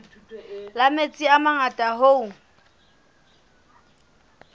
la metsi a mangata hoo